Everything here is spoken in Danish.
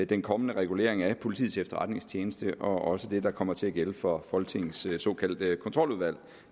den kommende regulering af politiets efterretningstjeneste og også for det der kommer til at gælde for folketingets såkaldte kontroludvalg